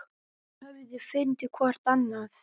Þau höfðu fundið hvort annað.